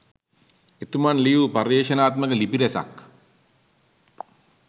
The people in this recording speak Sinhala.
එතුමන් ලියූ පර්යේෂණාත්මක ලිපි රැසක්